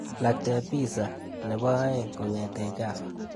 Iakte pizza nebo aeng kong'ete Java.